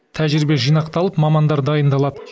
тәжірибе жинақталып мамандар дайындалады